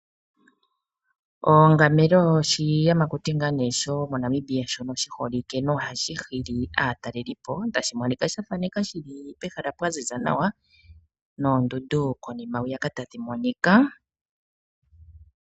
Ongamelo oshiyamakuti shomoNamibia shiholike hashi fuula aatalelipo tashi monika shili pehala pwa ziza nawa noondundu tadhi monika.